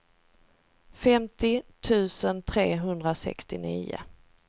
femtio tusen trehundrasextionio